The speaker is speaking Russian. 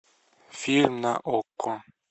фильм на окко